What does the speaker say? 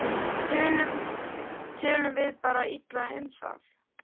Tölum við bara illa um það?